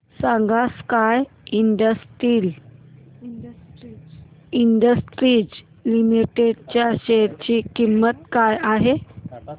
सांगा sky industries limited च्या share ची किंमत काय आहे